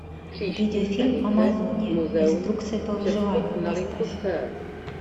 видеофильм амазония инструкция по выживанию поставь